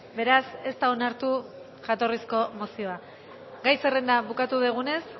beraz ez da onartu jatorrizko mozioa gai zerrenda bukatu dugunez